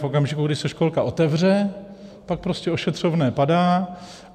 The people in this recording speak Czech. V okamžiku, kdy se školka otevře, tak prostě ošetřovné padá.